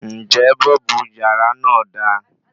Ǹjẹ́ bọ́ọ̀bù yàrá náà da